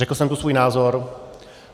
Řekl jsem tu svůj názor.